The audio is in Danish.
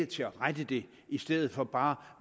til at rette det i stedet for bare